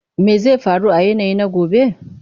Me zai faru a yanayi na gaba?